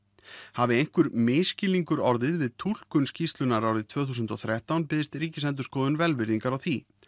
hafi einhver misskilningur orðið við túlkun skýrslunnar árið tvö þúsund og þrettán biðst Ríkisendurskoðun velvirðingar á því